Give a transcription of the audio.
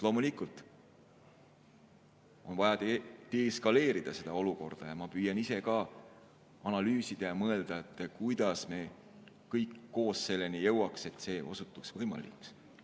Loomulikult on vaja de-eskaleerida seda olukorda ja ma püüan ise ka analüüsida ja mõelda, kuidas me kõik koos selleni jõuaksime, et see osutuks võimalikuks.